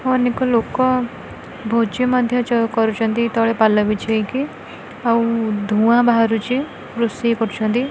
ଅନେକ ଲୋକ ଭୋଜି ମଧ୍ୟ ଯୋଗ କରୁଛନ୍ତି ତଳେ ପାଲ ବିଛେଇକି ଆଉ ଧୂଆଁ ବାହାରୁଛି ରୋଷେଇ କରୁଛନ୍ତି।